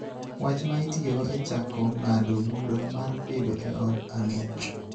wach ma itiyogo e chako ng�ado bura mar bedo e od ang'ech.